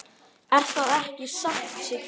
Er það ekki satt, Siggi?